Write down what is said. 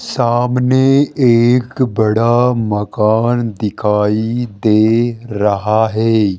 सामने एक बड़ा मकान दिखाई दे रहा है।